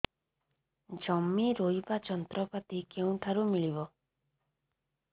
ଜମି ରୋଇବା ଯନ୍ତ୍ରପାତି କେଉଁଠାରୁ ମିଳିବ